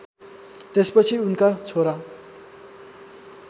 त्यसपछि उनका छोरा